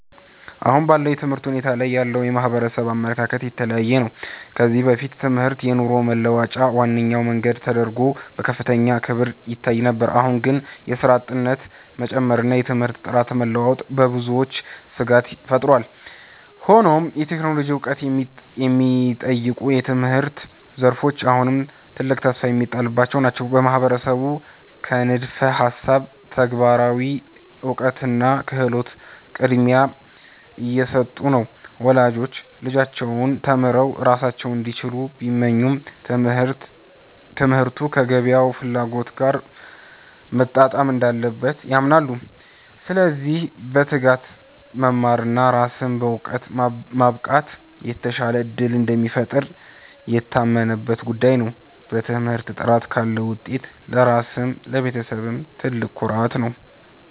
አሁን ባለው የትምህርት ሁኔታ ላይ ያለው የማህበረሰብ አመለካከት የተለያየ ነው። ከዚህ በፊት ትምህርት የኑሮ መለወጫ ዋነኛ መንገድ ተደርጎ በከፍተኛ ክብር ይታይ ነበር። አሁን ግን የሥራ አጥነት መጨመርና የትምህርት ጥራት መለዋወጥ በብዙዎች ስጋት ፈጥሯል። ሆኖም የቴክኖሎጂ ዕውቀት የሚጠይቁ የትምህርት ዘርፎች አሁንም ትልቅ ተስፋ የሚጣልባቸው ናቸው። ማህበረሰቡ ከንድፈ ሃሳብ ለተግባራዊ እውቀትና ክህሎት ቅድሚያ እየሰጡ ነው። ወላጆች ልጆቻቸው ተምረው ራሳቸውን እንዲችሉ ቢመኙም፣ ትምህርቱ ከገበያው ፍላጎት ጋር መጣጣም እንዳለበት ያምናሉ። ስለዚህ በትጋት መማርና ራስን በዕውቀት ማብቃት የተሻለ ዕድል እንደሚፈጥር የታመነበት ጉዳይ ነው። በትምህርት ጥረት ካለ ውጤቱ ለራስም ለቤተሰብም ትልቅ ኩራት ነው።